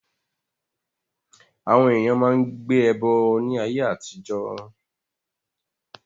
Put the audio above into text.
Àwọn èèyàn máa n gbé ẹbọ ní ayé àtijọ́